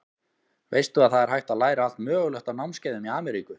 Veistu að það er hægt að læra allt mögulegt á námskeiðum í Ameríku.